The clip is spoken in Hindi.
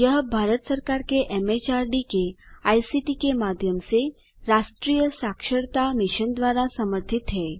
यह भारत सरकार के एमएचआरडी के आईसीटी के माध्यम से राष्ट्रीय साक्षरता मिशन द्वारा समर्थित है